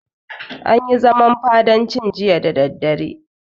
An yi zaman fadancin jiya da daddare.